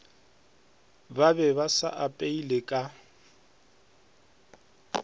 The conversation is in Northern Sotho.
ba be ba apeile ka